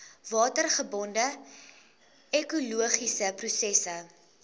watergebonde ekologiese prosesse